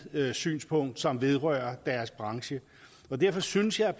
synspunkt som vedrører deres branche derfor synes jeg